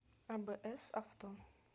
абс авто